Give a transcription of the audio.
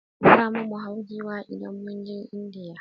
Zamu mu hau Giwa indan muje indiya